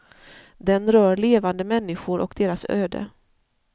Den rör levande människor och deras öde.